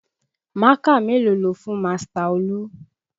Mákà mélòó lo fún Master Olú?